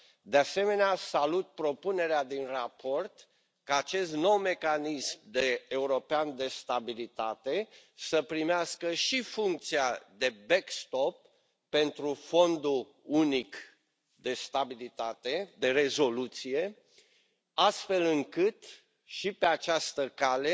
De asemenea, salutat propunerea din raport, ca acest nou Mecanism European de Stabilitate să primească și funcția de back stop pentru Fondul unic de rezoluție, astfel încât și pe această cale